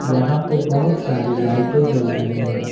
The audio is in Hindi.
यहां पे बहुत सारे लाइटें जल रही हैं।